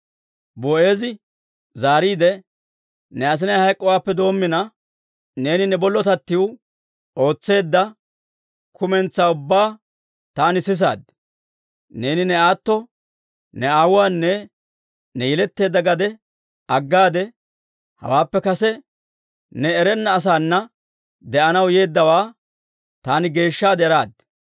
Boo'eezi zaariide, «Ne asinay hayk'k'oodeppe doommina, neeni ne bollotattiw ootseedda kumentsaa ubbaa taani sisaad. Neeni ne aatto, ne aawuwaanne ne yeletteedda gadiyaa aggaade, hawaappe kase ne erenna asaana de'anaw yeeddawaa taani geeshshaade eraad.